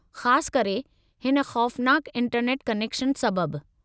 ख़ासु करे, हिन ख़ौफ़नाकु इंटरनेट कनेक्शन सबबु।